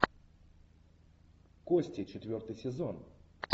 кости четвертый сезон